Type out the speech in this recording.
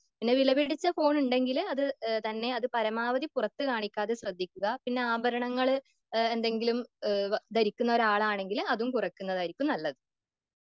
പിന്നെ വിലപിടിച്ച ഫോൺ ഉണ്ടെങ്കില് അത് തന്നെ അത് പരമാവധി പുറത്ത് കാണിക്കാതെ ശ്രദ്ധിക്കുക.പിന്നെ ആഭരണങ്ങള് എന്തെങ്കിലും ധരിക്കുന്ന ആളാണെങ്കി അതും കുറക്കുന്നതായിരിക്കും നല്ലത്.